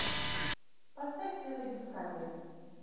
поставь тв дискавери